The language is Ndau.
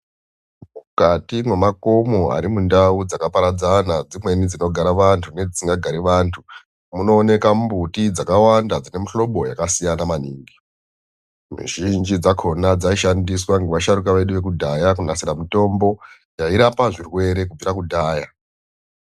Mukati memakomo arimundau dzakaparadzana dzimweni dzinogara vantu nedzisingagari vantu munooneka mumbuti dzakawanda dzine mihlobo yakasiyana maningi mizhinji dzakona dzaishandiswa ngevasharukwa vedu vekudhaya kunasira mitombo yairapa zvirwere kubvira kudhaya.